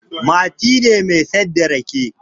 Mati ne mai saida rake